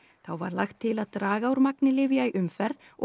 þá var lagt til að draga úr magni lyfja í umferð og